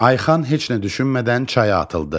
Ayxan heç nə düşünmədən çaya atıldı.